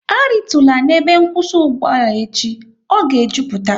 A ritula n'ebe nkwụsị ugboala echi, ọ ga e jupụta!